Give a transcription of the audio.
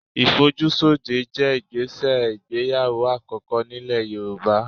Ìfojúsóde jẹ́ ìgbésẹ̀ ìgbéyàwó àkọ́kọ́ nílẹ̀ Yorùbá